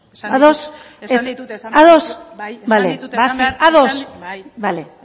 ados esan ditut esan behar ados bai